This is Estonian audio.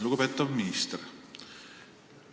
Lugupeetav minister!